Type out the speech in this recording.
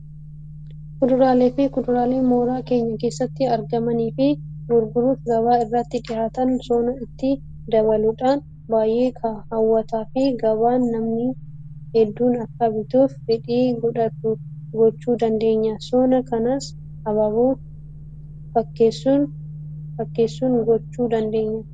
Fuduraalee fi kuduraalee mooraa keenya keessatti argamanii fi gurguraaf gabaa irratti dhiyaatan sona itti dabaluudhaan baay'ee hawwataa fi gabaan namni hedduun akka bituuf fedhii godhatu gochuu dandeenya. Sona kanas abaaboo fakkeessuungochuu dandeenya.